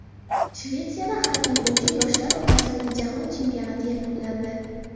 Shvetsiyada xokkey bo‘yicha yoshlar o‘rtasidagi jahon chempionati yakunlandi.